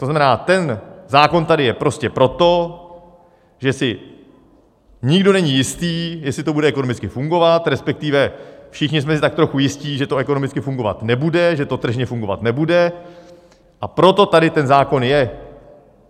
To znamená, ten zákon tady je prostě proto, že si nikdo není jist, jestli to bude ekonomicky fungovat, respektive všichni jsme si tak trochu jisti, že to ekonomicky fungovat nebude, že to tržně fungovat nebude, a proto tady ten zákon je.